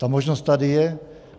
Ta možnost tady je.